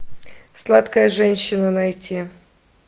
сладкая женщина найти